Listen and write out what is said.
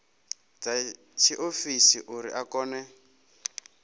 dza tshiofisi uri a kone